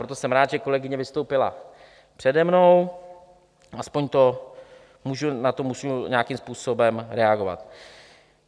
Proto jsem rád, že kolegyně vystoupila přede mnou, aspoň na to můžu nějakým způsobem reagovat.